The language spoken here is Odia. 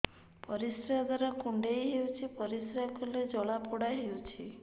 ପରିଶ୍ରା ଦ୍ୱାର କୁଣ୍ଡେଇ ହେଉଚି ପରିଶ୍ରା କଲେ ଜଳାପୋଡା ହେଉଛି